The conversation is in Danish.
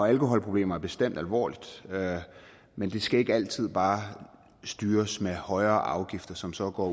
alkoholproblemer er bestemt alvorligt men det skal ikke altid bare styres med højere afgifter som så går